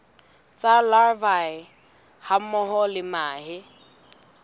tsa larvae hammoho le mahe